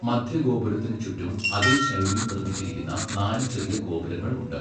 മദ്ധ്യ ഗോപുരത്തിന് ചുറ്റും അതേ ശൈലിയിൽ നിർമ്മിച്ചിരിക്കുന്ന നാല് ചെറിയ ഗോപുരങ്ങൾ ഉണ്ട്.